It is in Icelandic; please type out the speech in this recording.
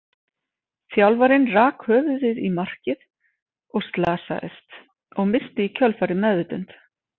Þjálfarinn rak höfuðið í markið og slasaðist, og missti í kjölfarið meðvitund.